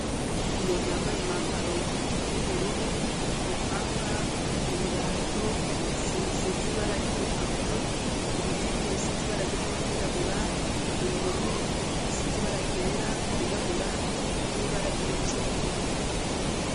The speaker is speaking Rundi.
Umuntu yambaye, umwambaro w'ubururu, umupanga, ibirato, isima isize ibara ry'umutuku, ibikingi bisize ibara ryera, n'iryirabura, ibihome bisize ibara ryera, ryirabura, n'ibara ry'umucungwe.